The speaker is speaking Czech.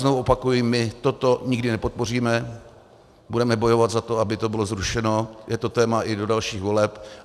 Znovu opakuji, my toto nikdy nepodpoříme, budeme bojovat za to, aby to bylo zrušeno, je to téma i do dalších voleb.